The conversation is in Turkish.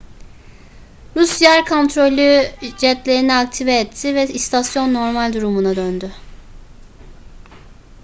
rus yer kontrolü jetlerini aktive etti ve istasyon normal durumuna döndü